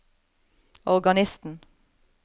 organisten